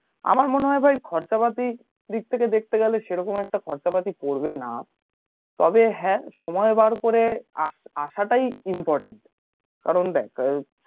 আমার মনে হয় ভাই খরচা পাতি দিক থেকে দেখতে গেলে সেরকম একটা খরচা পাতি পড়বে না তবে হ্যাঁ সময় বার করে আসাটাই important কারণ দেখ